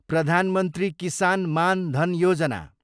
Pradhan Mantri Kisan Maan Dhan Yojana